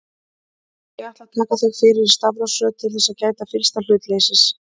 Ég ætla að taka þau fyrir í stafrófsröð til þess að gæta fyllsta hlutleysis.